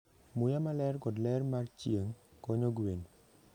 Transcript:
Muya maler kod ler mar chieng' konyo gwen.